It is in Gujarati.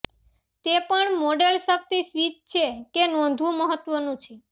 તે પણ મોડેલ શક્તિ સ્વીચ છે કે નોંધવું મહત્વનું છે